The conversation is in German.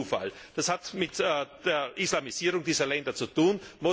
Das ist kein Zufall, das hat mit der Islamisierung dieser Länder zu tun.